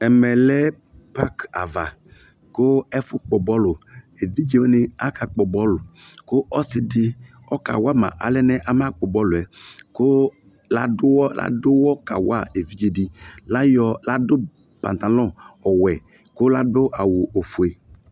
Ɛmɛ lɛ pak ava ko ɛfo kpɔ bɔluEvidze wane aka kpɔ bɔlu ko ɔse de ɔka wa ma alɛnɛ ama kpɔ bɔlɛ ko lado uwɔ, lado uwɔ kawa evidze de Layɔ, lado pantalɔn ɔwɛ ko lado awu ofue